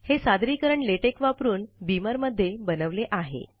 हे सादरीकरण लेटेक वापरून बीमर मध्ये बनवले आहे